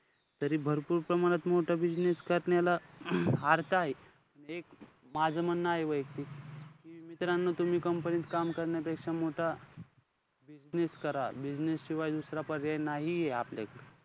तरी भरपूर प्रमाणात मोठा business करण्याला अर्थ आहे एक माझं म्हणं आहे वैयक्तिक. मित्रानो तुम्ही company त काम करण्यापेक्षा मोठा business करा. Business शिवाय दुसरा पर्याय नाहीये आपल्याला.